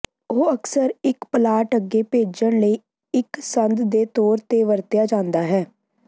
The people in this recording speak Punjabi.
ਉਹ ਅਕਸਰ ਇੱਕ ਪਲਾਟ ਅੱਗੇ ਭੇਜਣ ਲਈ ਇੱਕ ਸੰਦ ਦੇ ਤੌਰ ਤੇ ਵਰਤਿਆ ਜਾਦਾ ਹੈ